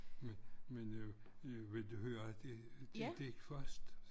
Men men øh vil du høre det det digt først?